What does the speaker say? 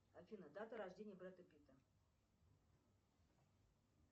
афина дата рождения брэда питта